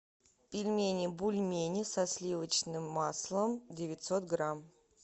пельмени бульмени со сливочным маслом девятьсот грамм